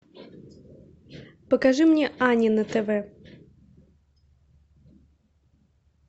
покажи мне ани на тв